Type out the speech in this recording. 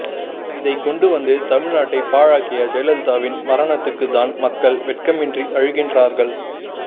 இதைக்கொண்டு வந்து தமிழ்நாட்டை பாழாக்கிய ஜெயலலிதாவின் மரணத்துக்குத்தான் மக்கள் வெட்கமின்றி அழுகின்றார்கள்